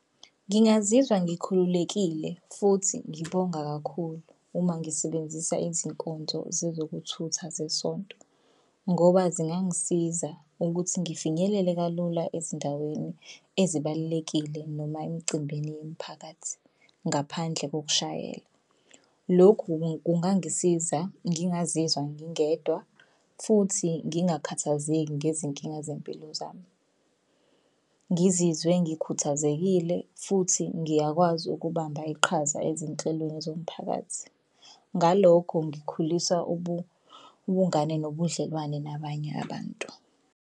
Ngingazizwa ngikhululekile futhi ngibonga kakhulu uma ngisebenzisa izinkonzo zezokuthutha zesonto ngoba zingangisiza ukuthi ngifinyelele kalula ezindaweni ezibalulekile noma emicimbini yemiphakathi ngaphandle kokushayela. Lokhu kungangisiza ngingazizwa ngingedwa futhi ngingakhathazeki ngezinkinga zempilo zami. Ngizizwe ngikhuthazekile futhi ngiyakwazi ukubamba iqhaza ezinhlelweni zomphakathi. Ngalokho ngikhulisa ubungane nobudlelwane nabanye abantu.